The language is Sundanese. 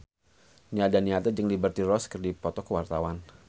Nia Daniati jeung Liberty Ross keur dipoto ku wartawan